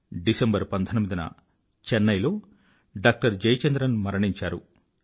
December 19న చెన్నై లో doctor Jayachandran మరణించారు